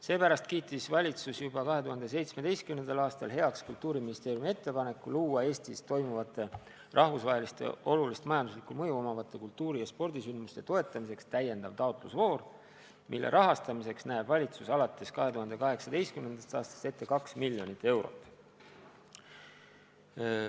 Seepärast kiitis valitsus juba 2017. aastal heaks Kultuuriministeeriumi ettepaneku luua Eestis toimuvate rahvusvaheliste olulise majandusliku mõjuga kultuuri- ja spordisündmuste toetamiseks täiendav taotlusvoor, mille rahastamiseks näeb valitsus alates 2018. aastast ette 2 miljonit eurot.